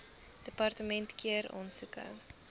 departement keur aansoeke